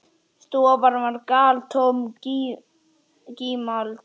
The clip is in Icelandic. Stofan var galtómt gímald.